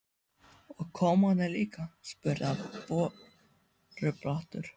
Og kommarnir líka? spurði hann borubrattur.